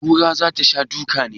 Kura za ta sha duka ne?